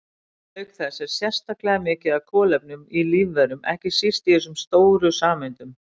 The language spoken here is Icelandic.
Auk þess er sérstaklega mikið af kolefni í lífverum, ekki síst í þessum stóru sameindum.